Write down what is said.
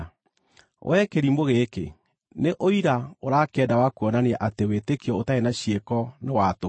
Wee kĩrimũ gĩkĩ, nĩ ũira ũrakĩenda wa kuonania atĩ wĩtĩkio ũtarĩ na ciĩko nĩ wa tũhũ?